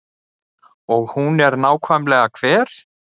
Og hún er nákvæmlega hver?